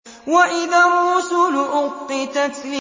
وَإِذَا الرُّسُلُ أُقِّتَتْ